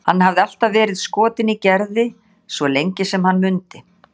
Hann hafði alltaf verið skotinn í Gerði, svo lengi sem hann mundi.